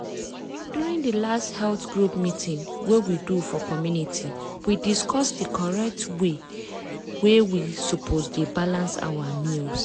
during di last health group meeting wey we do for community we discuss the correct way wey we suppose dey balance our meals.